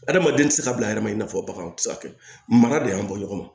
Adamaden tɛ se ka bila a yɛrɛ ma i n'a fɔ baganw tɛ se ka kɛ mana de y'an bɔ ɲɔgɔn na